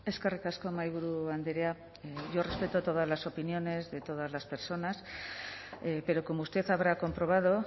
eskerrik asko mahaiburu andrea yo respeto todas las opiniones de todas las personas pero como usted habrá comprobado